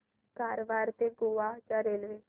कारवार ते गोवा च्या रेल्वे